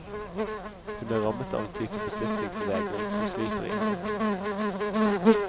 Hun er rammet av en type beslutningsvegring som sliter i henne.